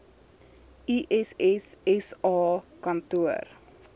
iss sa kantoor